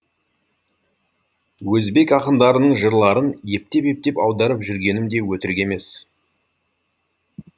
өзбек ақындарының жырларын ептеп ептеп аударып жүргенім де өтірік емес